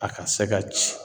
A ka se ka ci.